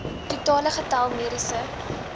totale getal mediese